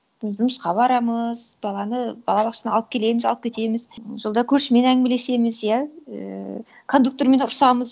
і жұмысқа барамыз баланы балабақшадан алып келеміз алып кетеміз жолда көршімен әңгімелесеміз иә ііі кондуктормен ұрысамыз